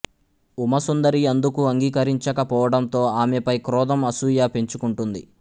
ఉమాసుందరి అందుకు అంగీకరించక పోవటంతో ఆమెపై క్రోధం అసూయ పెంచుకుంటుంది